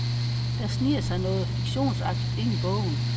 Der sniger sig noget fiktionsagtigt ind i bogen.